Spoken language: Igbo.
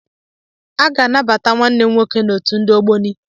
A ga-anabata nwanne m nwoke n'otu ndi Ogboni.